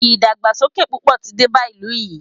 ìdàgbàsókè púpọ̀ tí dé bá ìlú yìí.